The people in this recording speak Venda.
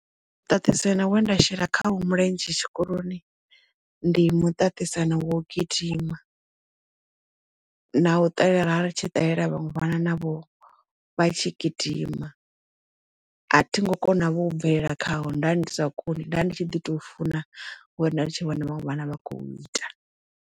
Muṱaṱisano we nda shela kha wo mulenzhe tshikoloni ndi muṱaṱisano wa u gidima na u ṱalela ra vha ri tshi ṱalela vhaṅwe vhana navho vha tshi gidima a thi ngo kona vho u bvelela khawo nda ndisa koni nda ndi tshi ḓi to funa ngauri nda ndi tshi vhona vhaṅwe vhana vha khou ita.